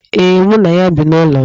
Ee, mụ na ya bi n'ụlọ m.